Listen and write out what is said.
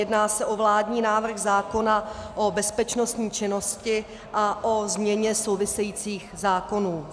Jedná se o vládní návrh zákona o bezpečnostní činnosti a o změně souvisejících zákonů.